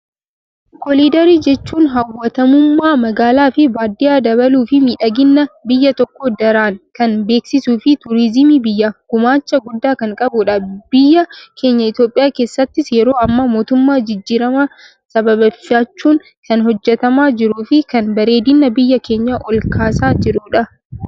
Kooliidarii jechuun hawwatamummaa magaalaa fi baadiyyaa dabaluu fi midhagina biyya tokkoo daraan kan beeksisuu fi turiziimii biyyaaf gumaacha guddaa kan qabudha. Biyya keenya Itoophiyaa keessattis yeroo ammaa mootummaa jijjiiramaa sababeeffachuun kan hojjetamaa jiru fi kan bareedina biyya keenya ol kaasaa jirudha.